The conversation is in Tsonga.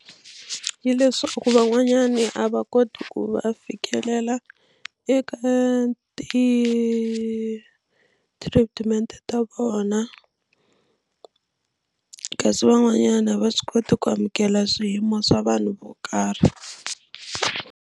Leswaku van'wanyani a va koti ku va fikelela eka ti-treatment ta vona kasi van'wanyana a va swi koti ku amukela swiyimo swa vanhu vo karhi.